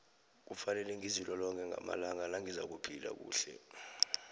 kufanele ngizilolonge ngamalanga nangizakuphila kuhle